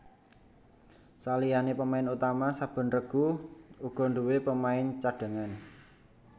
Saliyané pemain utama saben regu uga nduwé pemain cadhangan